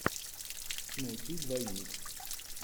найти двойник